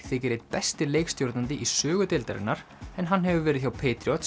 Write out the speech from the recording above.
þykir einn besti leikstjórnandi í sögu deildarinnar en hann hefur verið hjá